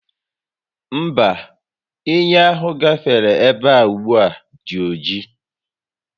Mba, ehi ahụ gafere ebea ugbua dị oji